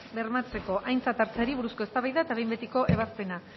bermatzeko aintzat hartzeari buruzko eztabaida eta behin betiko ebazpena